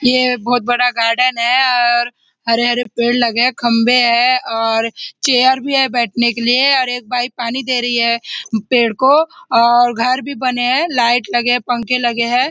यह बहुत बड़ा गार्डन है अ और हरे हरे पेड़ लगे है खम्बे है और चेयर भी है बैठने के लिए और एक बाई पानी दे रही है पेड़ को और घर भी बने है लाइट लगे है पंखे लगे है।